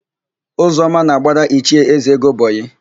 Ụzọma na-agbara Ichie Ezego bọyịị.